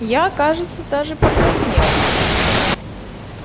я кажется даже покраснел